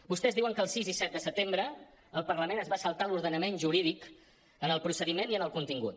vostès diuen que el sis i set de setembre el parlament es va saltar l’ordenament jurídic en el procediment i en el contingut